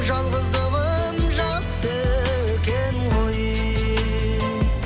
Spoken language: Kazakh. жалғыздығым жақсы екен ғой